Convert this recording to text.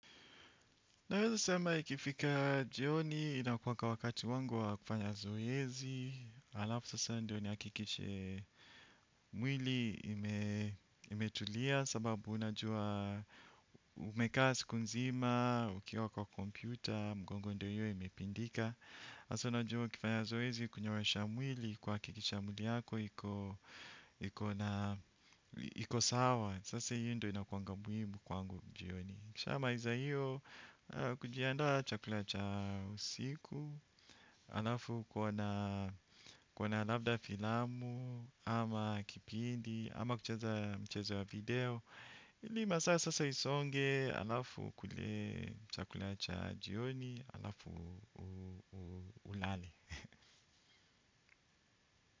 Naweza sema ikifika jioni inakuwanga wakati wangu wa kufanya zoezi. Alafu sasa ndio niakikishe mwili imetulia sababu unajua umekaa siku nzima, ukiwa kwa kompyuta, mgongo ndio hiyo imepindika. Sasa unajua ukifanya zoezi kunyoosha mwili kuakikisha mwili yako iko sawa. Sasa hiyo ndio inakuanga muhimu kwangu jioni. Ukishamaiza hiyo, kujianda chakula cha usiku, alafu kuona labda filamu, ama kipindi, ama kucheza mchezo ya video. Ili masasa sasa isonge alafu ukule chakula cha jioni, alafu ulale.